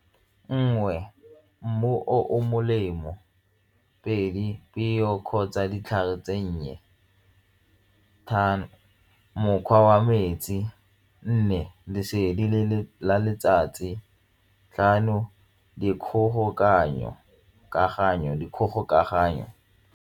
Nngwe, mmu o molemo pedi, peo kgotsa ditlhare tsenngwe, tharo, mokgwa wa metsi, nne lesedi la letsatsi, tlhano di .